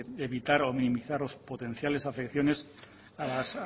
es evitar o minimizar los potenciales